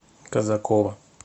казакова